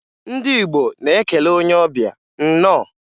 Ndị Igbo na-ekele onye ọbịa, "Nnọọ"